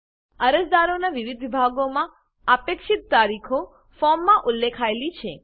અરજદારોનાં વિવિધ વિભાગોમાં અપેક્ષિત તારીખો ફોર્મમાં ઉલ્લેખાયેલી છે